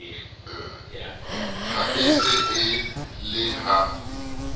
e se e le ha